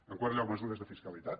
en quart lloc mesures de fiscalitat